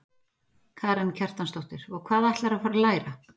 Karen Kjartansdóttir: Og hvað ætlarðu að fara að læra?